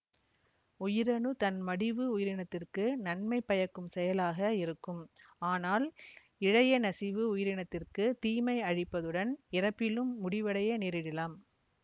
உயிரணு தன்மடிவு உயிரினத்திற்கு நன்மை பயக்கும் செயலாக இருக்கும் ஆனால் இழையநசிவு உயிரினத்திற்கு தீமை அழிப்பதுடன் இறப்பிலும் முடிவடைய நேரிடலாம்